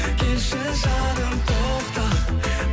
келші жаным тоқта